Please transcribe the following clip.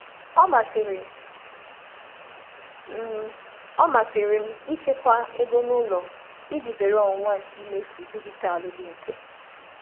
M na-ahọrọ ịchekwa ego n'ụlọ iji zere ọnwụnwa nke zere ọnwụnwa nke mmefu dijitalụ dị mfe.